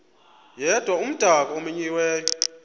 yedwa umdaka omenyiweyo